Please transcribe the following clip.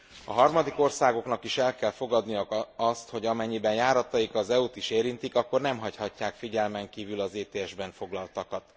A harmadik országoknak is el kell fogadniuk azt, hogy amennyiben járataik az EU t is érintik, akkor nem hagyhatják figyelmen kívül az ETS ben foglaltakat.